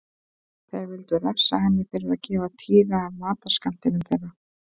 Þeir vildu refsa henni fyrir að gefa Týra af matarskammtinum þeirra.